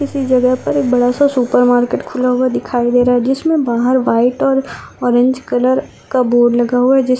इसी जगह पर एक बडा सा सुपर मार्केट खुला हुआ दिखाई दे रहा जिसमे बाहर वाइट और ऑरेंज कलर का बोर्ड लगा हुआ है जिस --